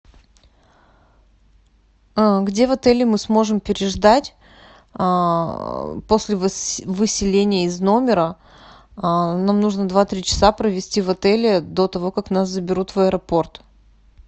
где в отеле мы сможем переждать после выселения из номера нам нужно два три часа провести в отеле до того как нас заберут в аэропорт